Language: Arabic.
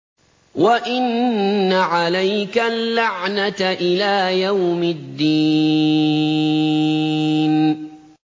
وَإِنَّ عَلَيْكَ اللَّعْنَةَ إِلَىٰ يَوْمِ الدِّينِ